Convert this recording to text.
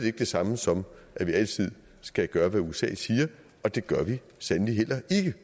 ikke det samme som at vi altid skal gøre hvad usa siger og det gør vi sandelig heller ikke